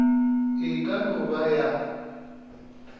e ka no ba ya